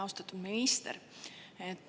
Austatud minister!